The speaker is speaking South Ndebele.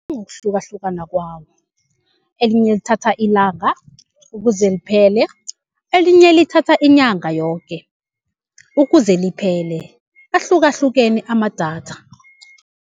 ngokuhlukahlukana kwawo elinye lithatha ilanga ukuze liphele, elinye lithatha inyanga yoke ukuze liphele, ahlukahlukene amadatha.